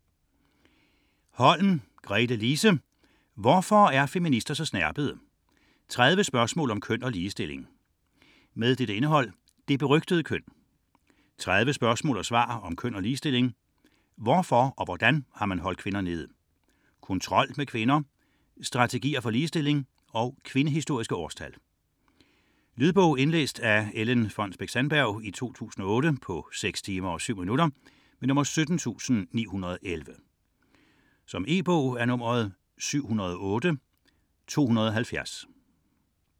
30.172 Holm, Gretelise: Hvorfor er feminister så snerpede?: 30 spørgsmål om køn og ligestilling Indhold: Det berygtede køn; 30 spørgsmål og svar om køn og ligestilling; Hvorfor og hvordan har man holdt kvinder nede?; Kontrol med kvinder; Strategier for ligestilling; Kvindehistoriske årstal. Lydbog 17911 Indlæst af Ellen Fonnesbech-Sandberg, 2008. Spilletid: 6 timer, 7 minutter. E-bog 708270 2008.